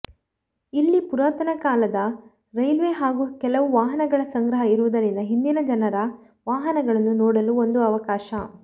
ಇಲ್ಲಿ ಪುರಾತನ ಕಾಲದ ರೈಲ್ವೇ ಹಾಗೂ ಕೆಲವು ವಾಹನಗಳ ಸಂಗ್ರಹ ಇರುವುದರಿಂದ ಹಿಂದಿನ ಜನರ ವಾಹನಗಳನ್ನು ನೋಡುಲು ಒಂದು ಅವಕಾಶ